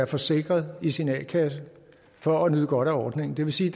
forsikret i sin a kasse for at nyde godt af ordningen det vil sige